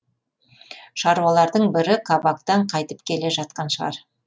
шаруалардың бірі кабактан қайтып келе жатқан шығар